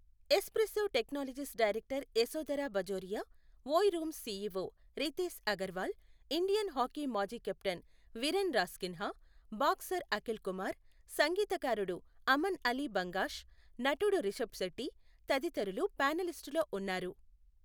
Espresso Technologies director Yashodhara Bajoria, Oyo Rooms CEO Ritesh Agarwal, Indian hockey మాజీ captain Viren Rasquinha, boxer Akhil Kumar, సంగీతకారుడు అమన్ అలీ బంగాష్, నటుడు రిషబ్ శెట్టి తదితరులు ప్యానెలిస్టులలో ఉన్నారు.